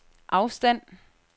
afstand